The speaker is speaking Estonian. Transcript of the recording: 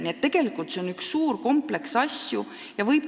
Nii et tegelikult see on üks suur kompleks küsimusi.